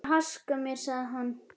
Ég þarf að haska mér, sagði hann.